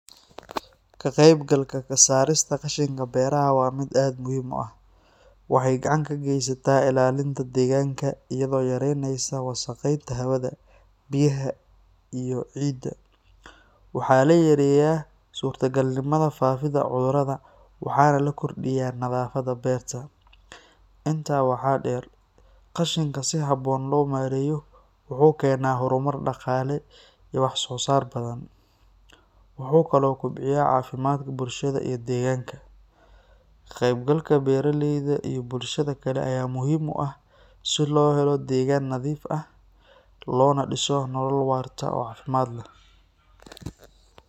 Ka qaybgalka ka saarista qashinka beeraha waa mid aad muhiim u ah. Waxay gacan ka geysataa ilaalinta deegaanka, iyadoo yaraynaysa wasakheynta hawada, biyaha iyo ciidda. Waxaa la yareeyaa suurtagalnimada faafidda cudurrada, waxaana la kordhiyaa nadaafadda beerta. Intaa waxaa dheer, qashinka si habboon loo maareeyo wuxuu keenaa horumar dhaqaale iyo wax-soo-saar badan. Wuxuu kaloo kobciyaa caafimaadka bulshada iyo deegaanka. Ka qaybgalka beeraleyda iyo bulshada kale ayaa muhiim u ah si loo helo deegaan nadiif ah loona dhiso nolol waarta oo caafimaad leh.